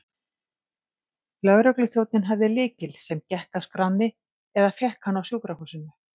Lögregluþjónninn hafði lykil, sem gekk að skránni, eða fékk hann á sjúkrahúsinu.